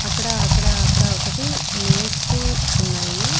అక్కడ అక్కడ అక్కడ ఒకటి మేస్తూ ఉన్నాయి.